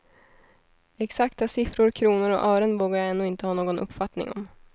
Exakta siffror, kronor och ören vågar jag ännu inte ha någon uppfattning om.